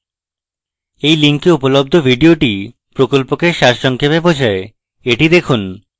এই link উপলব্ধ video প্রকল্পকে সারসংক্ষেপে বোঝায় the দেখুন